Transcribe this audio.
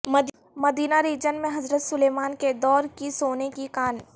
مدینہ region میں حضرت Sulaiman کے دور کی سونے کی کان